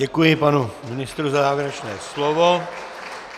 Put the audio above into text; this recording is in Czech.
Děkuji panu ministrovi za závěrečné slovo.